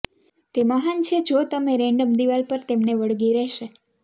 તે મહાન છે જો તમે રેન્ડમ દિવાલ પર તેમને વળગી રહેશે